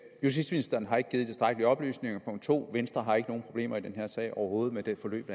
justitsministeren har ikke givet tilstrækkelige oplysninger og punkt 2 venstre har ikke nogen problemer i den her sag overhovedet med det forløb